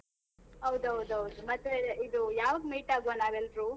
ಹೌದ್ ಹೌದ್ ಹೌದು, ಮತ್ತೆ ಇದು ಯಾವಾಗ್ meet ಆಗುವ ನಾವ್ ಎಲ್ರು?